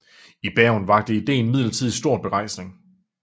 I Bergen vakte idéen imidlertid stor begejstring